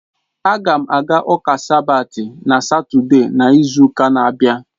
A ga m aga ụka sabat na Satọde n'izu ụka na-abịa.